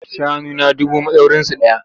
Shanuna dubu madaurinsu ɗaya.